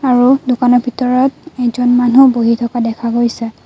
আৰু দোকানৰ ভিতৰত এজন মানু্হ বহি থকা দেখা গৈছে।